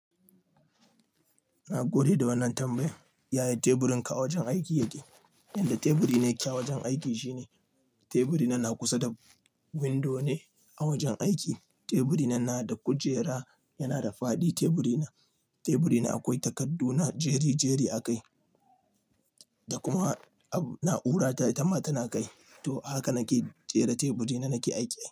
Na gode da wannan tambayan. Yaya teburin ka a wajen aiki yake? Yanda teburi na yake a wajen aiki shine teburi na na kusa da windo ne a wajen aiki. Teburi na na da kujera yana da fadi teburi na. Teburi na akwai takardu na jeri-jeri a kai. Da kuma ab na'ura ta itama tana kai. To haka nake jera teburi na nake aiki.